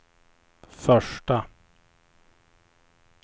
första